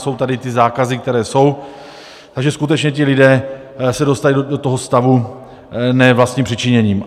Jsou tady ty zákazy, které jsou, takže skutečně ti lidé se dostali do tohoto stavu ne vlastním přičiněním.